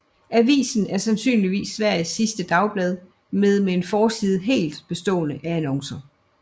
Avisen er sandsynligvis Sveriges sidste dagblad med en forside helt bestående af annoncer